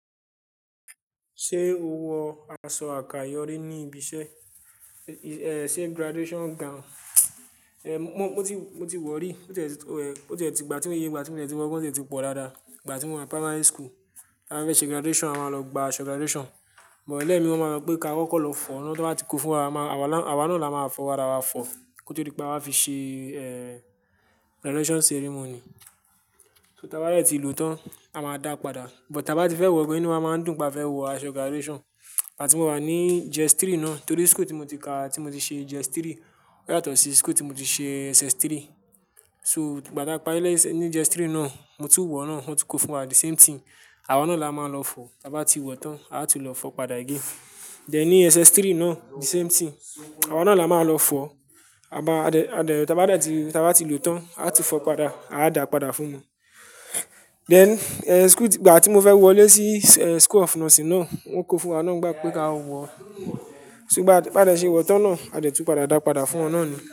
Ṣé o wọ aṣọ àkàyọ́ rí ní ibi iṣẹ́? Ẹ̀, ṣe graduation gown? Ẹ̀, mo ti, mo ti wọ̀ rí. Ó ti ẹ ti, ó ẹ, ó ti ẹ ti ìgbà tí mo ye, ìgbà tí mo ti wọ gan, ó ti ẹ ti pọ̀ dáadáa. Ìgbà tí mo wà primary school, a fẹ́ ṣe graduation, a máa lọ gba aṣọ graduation, but lẹ́ẹ̀mi máa mọ̀ pé ká kọ́kọ́ lọ fọ̀ ọ́n kí wọ́n máa ti kó fún wa. A wa náà là má fọ̀ wa ra wa fọ̀ kó tó dí pé a wáa fi ṣe, ẹ́ẹ́, graduation ceremony. So tí a bá dẹ̀ ti lòó tán, a máa dá padà. But tí a bá ti fẹ́ wọ̀ gan inú wà máa ń dùn pá fẹ́ wọ aṣọ graduation. Ìgbà tí mo wà ní JSS3 náà, torí school tí mo ti ka, tí mo ti ṣe JSS3, ó yàtọ̀ sí school tí mo ti ṣe SS3. So ìgbà táa pa lẹ́ẹ̀sẹ̀ ní JSS3 náà, mo tún wọ̀ na, wọn tún kó fún wa the same thing. Awa náà là má lọ fọ̀. Tí a bá ti wọ̀ tán, a tún lọ fọ̀ padà again. Then ní SS3 náà the same thing. Awa náà là má lọ fọ̀. Aba, a dẹ̀, a dẹ̀ tí a bá dẹ̀ ti, tí a bá ti lòótọ́, a ti fọ̀ padà, a dá padà fún wọn. Then, ẹ́ẹ́, school tí, ìgbà tí mo fẹ́ wọ̀ lé sí, ẹ́ẹ́, school of nursing náà, wọn kó fún wa náà gba wípé ká wọ̀ ọ́n. So gbá, bá dẹ̀ ṣe wọ̀ tán náà, a dẹ̀ tún padà dá padà fún wọn náà ni.